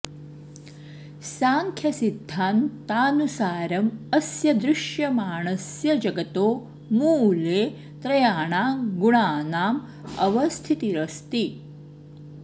सांख्यसिद्धान्तानुसारम् अस्य दृश्यमाणस्य जगतो मूले त्रयाणां गुणानाम् अवस्थितिरस्ति